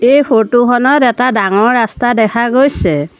এই ফটো খনত এটা ডাঙৰ ৰাস্তা দেখা গৈছে।